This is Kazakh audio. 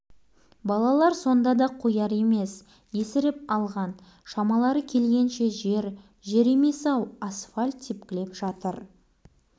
балалар енді ал кеп тепкілесін демнің арасында асфальт бетін майда шұрқ-шұрқ тесік басып кетті мына тірлік